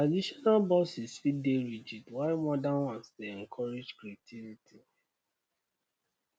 traditional bosses fit dey rigid while modern ones dey encourage creativity